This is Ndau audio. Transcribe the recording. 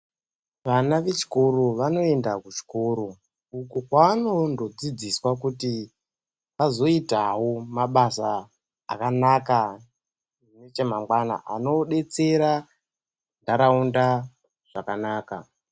Vana vechikora vanoenda kuchikoro uko kwaanondodzidziswa kuti azoitawo mabasa akanaka nechemangwana anodetsera nharaunda zvakanaka.